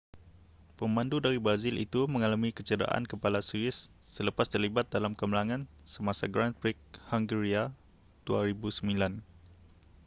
pemandu dari brazil itu mengalami kecederaan kepala serius selepas terlibat dalam kemalangan semasa grand prix hungaria 2009